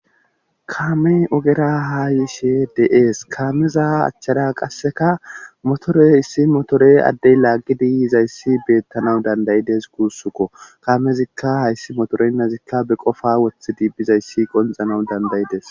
Kaame ogera haayishe de7ees kaameza achchada qasseka motore issi motore addey laaggi diyizayssi beettana dandayides guussukko kaamezikka hayssi motorenna zikka be qofa wothi diibphizayssi qonxanawu dandayides.